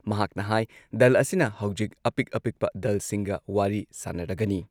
ꯃꯍꯥꯛꯅ ꯍꯥꯏ ꯗꯜ ꯑꯁꯤꯅ ꯍꯧꯖꯤꯛ ꯑꯄꯤꯛ ꯑꯄꯤꯛꯄ ꯗꯜꯁꯤꯡꯒ ꯋꯥꯔꯤ ꯁꯥꯟꯅꯔꯒꯅꯤ꯫